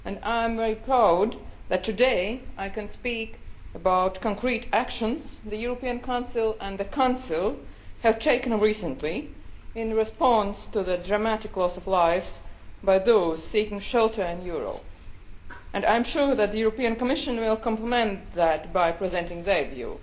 I am very proud that today I can speak about concrete actions the European Council and the Council have taken recently in response to the dramatic loss of lives of those seeking shelter in Europe, and I am sure that the Commission will complement that by presenting its view.